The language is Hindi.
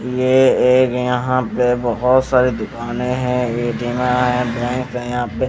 ये एक यहाँ पे बहोत सारी दुकानें हैं हैं बैंक हैं यहाँ पे।